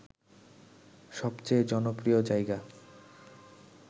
সবচেয়ে জনপ্রিয় জায়গা